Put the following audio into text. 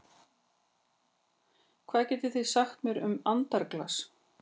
Hvað getið þið sagt mér um andaglas?